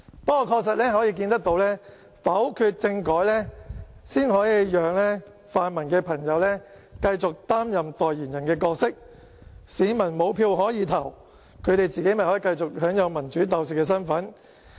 不過，確實可以看到，要否決政改，才可以讓泛民朋友繼續擔任代言人的角色，市民沒有票可投，他們自己便可以繼續享有民主鬥士的身份。